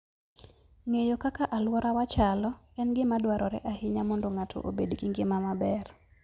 Ng'eyo kaka alworawa chalo en gima dwarore ahinya mondo ng'ato obed gi ngima maber.